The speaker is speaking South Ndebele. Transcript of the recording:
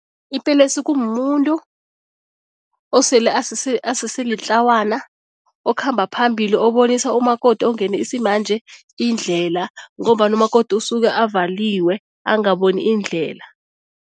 Ipelesi kumuntu osele asese asese litlawana okhamba phambili, obonisa umakoti ongene isimanje indlela ngombana umakoti usuke avaliwe angaboni indlela.